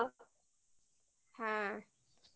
হ্যাঁ